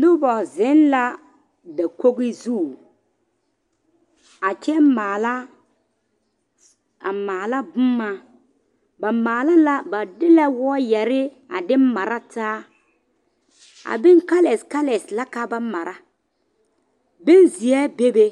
Noba zeŋ la dakoɡi zu a kyɛ maala a maala boma ba maale la ba de la wɔɔyɛre a de mara taa a bon kalɛskalɛs la ka ba mara benzeɛ bebe